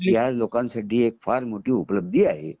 ह्या लोकांसाठी ही फार मोठी उपलब्धी आहे